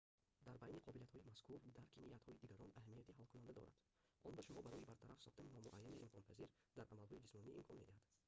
дар байни қобилиятҳои мазкур дарки ниятҳои дигарон аҳамияти ҳалкунанда дорад он ба шумо барои бартараф сохтани номуайянии имконпазир дар амалҳои ҷисмонӣ имкон медиҳад